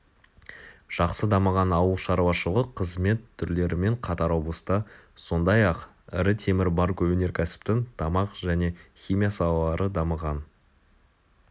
жақсы дамыған ауылшарушылық қызмет түрлерімен қатар облыста сондай-ақ ірі темір бар өнеркәсіптің тамақ және химия салалары дамыған